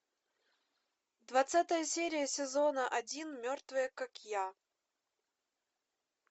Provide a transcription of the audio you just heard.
двадцатая серия сезона один мертвая как я